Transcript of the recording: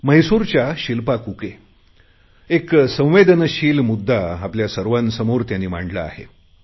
म्हैसूरच्या शिल्पा कुके यांनी एक संवेदनशील मुद्दा आपल्या सर्वांसमोर मांडला आहे